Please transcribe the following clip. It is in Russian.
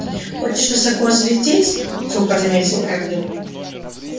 хочешь высоко залететь сухо заметил эндрю